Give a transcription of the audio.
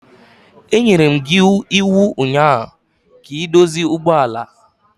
Enyere m gi iwu ụnyaahụ ka ị dozie ụgbọ ala!